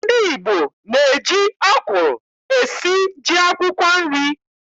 Ndị Igbo na-eji ọkwụrụ esi ji akwụkwọ nri.